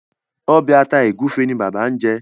Obe ata egufe ní bàbá ñ jé.